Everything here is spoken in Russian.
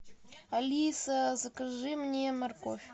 алиса закажи мне морковь